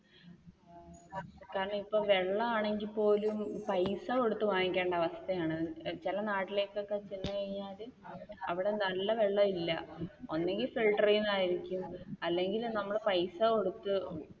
കാരണം ഇപ്പൊ വെള്ളമാണെങ്കിൽ പോലും പൈസ കൊടുത്തു വാങ്ങിക്കേണ്ട അവസ്ഥയാണ്. ചില നാട്ടിലൊക്കെ ചെന്ന് കഴിഞ്ഞാൽ അവിടെ നല്ല വെള്ളം ഇല്ല, ഒന്നെങ്കിൽ ഫിൽറ്ററിൽ നിന്നായിരിക്കും അല്ലെങ്കിൽ നമ്മൾ പൈസ കൊടുത്തു